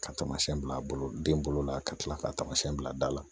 Ka taamasiyɛn bila den bolo la ka kila ka tamasiyɛn bila da la